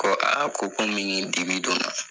Ko ko komi ni dibi donna